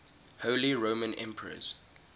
holy roman emperors